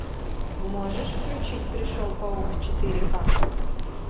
можешь включить пришел паук четыре ка